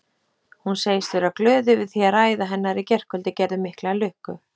Hún segist vera glöð yfir því að ræða hennar í gærkvöldi gerði mikla lukku.